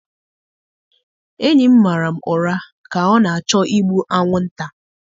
Enyi m mara m ụra ka ọ na-achọ igbu anwụnta.